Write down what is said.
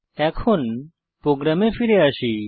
এখন প্রোগ্রামে ফিরে আসি